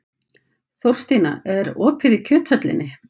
Þórstína, er opið í Kjöthöllinni?